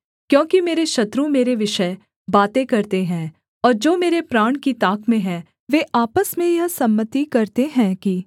क्योंकि मेरे शत्रु मेरे विषय बातें करते हैं और जो मेरे प्राण की ताक में हैं वे आपस में यह सम्मति करते हैं कि